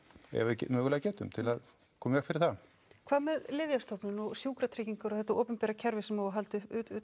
ef við mögulega getum til að koma í veg fyrir það hvað með Lyfjastofnun og Sjúkratryggingar og þetta opinbera kerfi sem á að halda